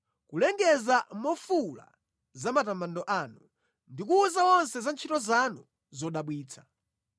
kulengeza mofuwula za matamando anu ndi kuwuza onse za ntchito zanu zodabwitsa.